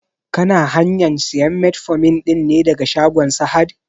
Kana hanyan sayan metformin ɗin ne daga shagon sahad?